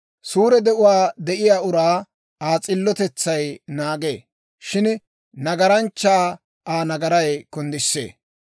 Suure de'uwaa de'iyaa uraa Aa s'illotetsay naagee; shin nagaranchchaa Aa nagaray kunddisee.